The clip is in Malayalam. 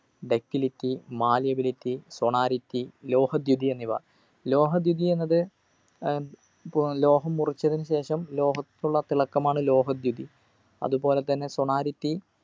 ductility malleability sonority ലോഹദ്യുതി എന്നിവ ലോഹദ്യുതി എന്നത് ഏർ പോ ലോഹം മുറിച്ചതിനുശേഷം ലോഹത്തിനുള്ള തിളക്കമാണ് ലോഹദ്യുതി അതുപോലെ തന്നെ sonority